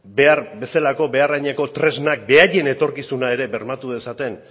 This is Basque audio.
behar bezalako behar adineko tresnak beraien etorkizuna ere bermatu dezaten